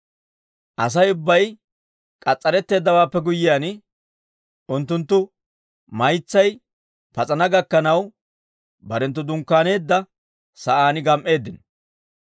Asay ubbay k'as's'aretteeddawaappe guyyiyaan, unttunttu maytsay pas'ana gakkanaw barenttu dunkkaaneedda sa'aan gam"eeddino.